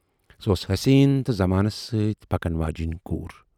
سۅ ٲس حسیٖن تہٕ زَمانَس سۭتۍ پکَن واجینۍ کوٗر۔